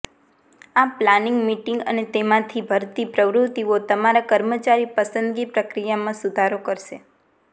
આ planning meeting અને તેમાંથી ભરતી પ્રવૃત્તિઓ તમારા કર્મચારી પસંદગી પ્રક્રિયામાં સુધારો કરશે